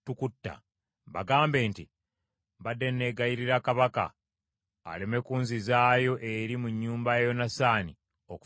bagambe nti, ‘Mbadde neegayirira kabaka aleme kunzizaayo eri mu nnyumba ya Yonasaani okufiira eyo.’ ”